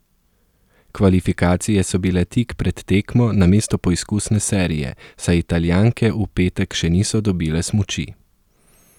Kvalifikacije so bile tik pred tekmo namesto poizkusne serije, saj Italijanke v petek še niso dobile smuči.